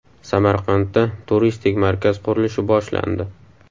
Samarqandda turistik markaz qurilishi boshlandi.